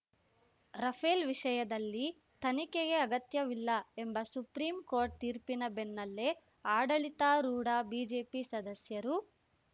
Rafale ವಿಷಯದಲ್ಲಿ ತನಿಖೆಗೆ ಅಗತ್ಯವಿಲ್ಲ ಎಂಬ ಸುಪ್ರೀಂಕೋರ್ಟ್‌ ತೀರ್ಪಿನ ಬೆನ್ನಲ್ಲೇ ಆಡಳಿತಾರೂಢ ಬಿಜೆಪಿ ಸದಸ್ಯರು